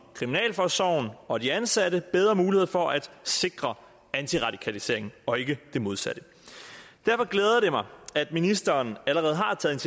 kriminalforsorgen og de ansatte bedre muligheder for at sikre antiradikaliseringen og ikke det modsatte derfor glæder det mig at ministeren allerede har taget